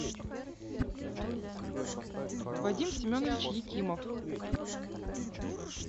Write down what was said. вадим семенович екимов